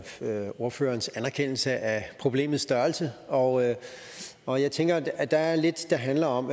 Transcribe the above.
at høre ordførerens anerkendelse af problemets størrelse og jeg og jeg tænker at der er lidt der handler om